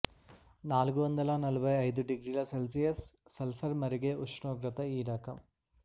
నాలుగు వందల నలభై ఐదు డిగ్రీల సెల్సియస్ సల్ఫర్ మరిగే ఉష్ణోగ్రత ఈ రకం